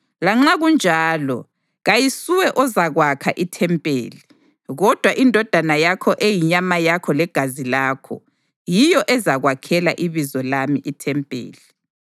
Lanxa kunjalo, kayisuwe ozakwakha ithempeli, kodwa indodana yakho eyinyama yakho legazi lakho, yiyo ezakwakhela iBizo lami ithempeli.’